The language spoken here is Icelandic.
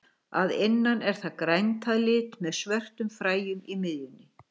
Að innan er það grænt að lit með svörtum fræjum í miðjunni.